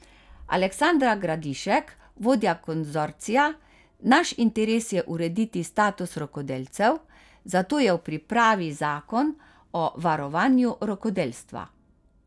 Aleksandra Gradišek, vodja konzorcija: 'Naš interes je urediti status rokodelcev, zato je v pripravi zakon o varovanju rokodelstva.